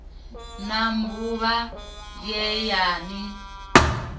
na mbuvha ye ya ni